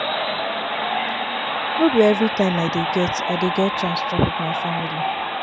no be everytime i dey get i dey get chance chop wit my family.